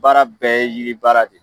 Baara bɛɛ ye yiri baara de ye.